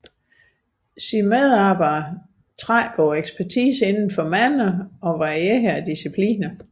Dens medarbejdere trækker på ekspertise inden for mange og varierede discipliner